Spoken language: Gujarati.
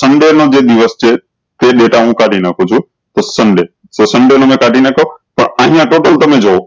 સંડે નો જે દિવસ છે તે ડેટા હું કાઢી નાખું છું સંડે નું મેં કાઢી નાખો પણ અયીયા તો તમે જુવો